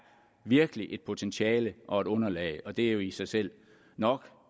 virkelig et potentiale og et underlag og det er jo i sig selv nok